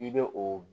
I bɛ o